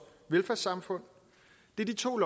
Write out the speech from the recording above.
velfærdssamfund det er de to